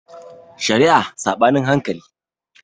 Shari'a Saɓanin hankali